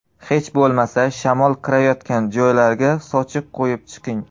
Hech bo‘lmasa, shamol kirayotgan joylarga sochiq qo‘yib chiqing.